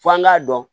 Fɔ an k'a dɔn